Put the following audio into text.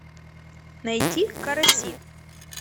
найти караси